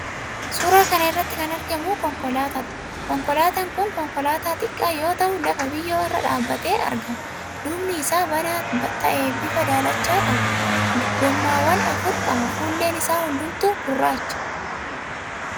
Suuraa kana irratti kan argamu konkolaataadha. Konkolaataan kun konkolaataa xiqqaa yoo ta'u lafa biyyoo irra dhaabbatee argama. Duubni isaa banaa ta'ee bifa daalachaa qaba. Gowwaawwan afur qaba. Fuulleen isaa hundumtuu gurraacha.